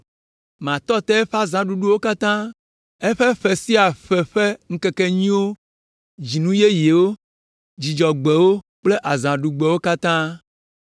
Matɔ te eƒe azãɖuɖuwo katã; eƒe ƒe sia ƒe ƒe ŋkekenyuiwo, dzinu yeyewo, Dzudzɔgbewo kple azãɖugbewo katã.